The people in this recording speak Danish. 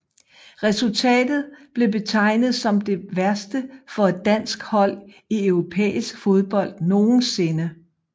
Resultatet blev betegnet som det værste for et dansk hold i europæisk fodbold nogensinde